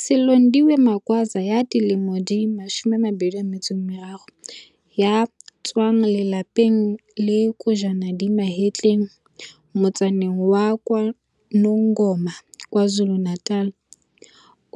Silondiwe Magwaza ya dilemo di 23 ya tswang lelapeng le kojwana di mahetleng motsaneng wa KwaNongoma, KwaZulu-Natal,